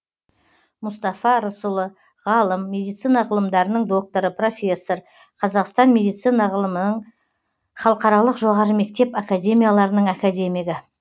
мұстафа рысұлы ғалым медицина ғылымдарының докторы профессор қазақстан медицина ғылымының халықаралық жоғары мектеп академияларының академигі